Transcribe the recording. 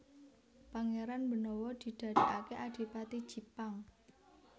Pangéran Benawa didadèkaké Adipati Jipang